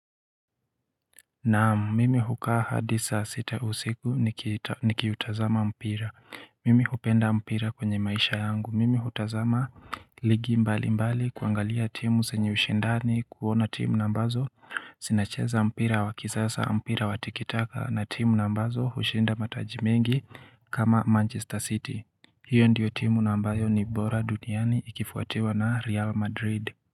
Naamu mimi hukaa hadisa sita usiku nikiutazama mpira mimi hupenda mpira kwenye maisha yangu mimi hutazama ligi mbali mbali kuangalia timu zenye ushindani kuona timu ambazo Zinacheza mpira wakisasa mpira watikitaka na timu ambazo hushinda matajimengi kama manchester city hiyo ndiyo timu ambayo ni bora duniani ikifuatiwa na real madrid.